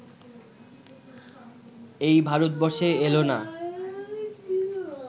এই ভারতবর্ষে এলো না